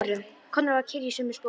Konráð var kyrr í sömu sporum.